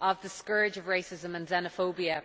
of the scourge of racism and xenophobia.